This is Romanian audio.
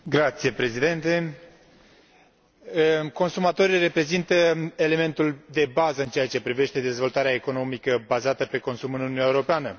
Domnule președinte, consumatorii reprezintă elementul de bază în ceea ce privește dezvoltarea economică bazată pe consum în Uniunea Europeană.